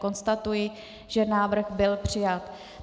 Konstatuji, že návrh byl přijat.